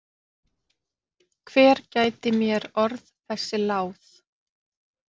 Hver gæti mér orð þessi láð?